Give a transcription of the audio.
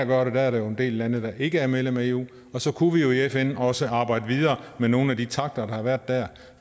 gøre det der er der jo en del lande der ikke er medlemmer af eu og så kunne vi jo i fn også arbejde videre med nogle af de takter der har været dér